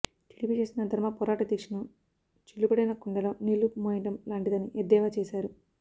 TDP చేస్తున్న ధర్మ పోరాట దీక్షను చిల్లుపడిన కుండలో నీళ్లు మోయడం లాంటిదని ఎద్దేవా చేశారు